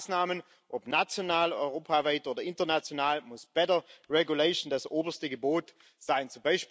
Bei allen Maßnahmen ob national, europaweit oder international muss bessere Rechtsetzung das oberste Gebot sein.